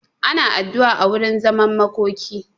Ana addu'a a wurin zaman makoki.